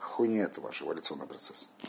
хуйня это ваш эволюционный процес